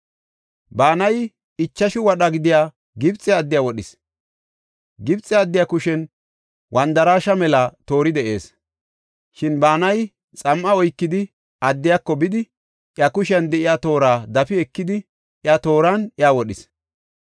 Banayi ichashu wadha gidiya Gibxe addiya wodhis. Gibxe addiya kushen wandaraashe mela toori de7ees; shin Banayi xam7a oykidi addiyako bidi iya kushiyan de7iya toora dafi ekidi iya tooran iya wodhis.